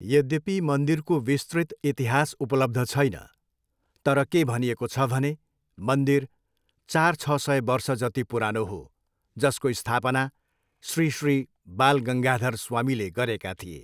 यद्यपि मन्दिरको विस्तृत इतिहास उपलब्ध छैन, तर के भनिएको छ भने, मन्दिर चार, छ सय वर्ष जति पुरानो हो, जसको स्थापना श्री श्री बालगङ्गाधर स्वामीले गरेका थिए।